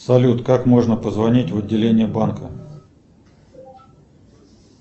салют как можно позвонить в отделение банка